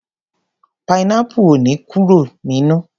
Pineapple ò ní kóró nínú.